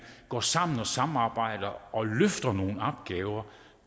går sammen og samarbejder og løfter nogle opgaver